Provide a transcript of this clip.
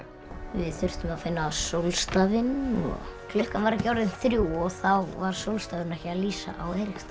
við þurftum að finna sólstafinn og klukkan var ekki orðin þrjú og þá var sólstafurinn ekki að lýsa á